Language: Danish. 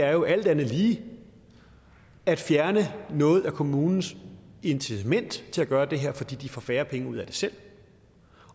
er jo alt andet lige at fjerne noget af kommunens incitament til at gøre det her fordi de får færre penge ud af det selv